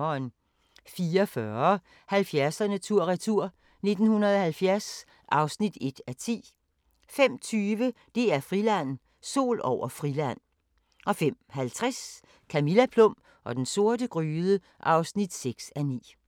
04:40: 70'erne tur-retur: 1970 (1:10) 05:20: DR-Friland: Sol over Friland 05:50: Camilla Plum og den sorte gryde (6:9)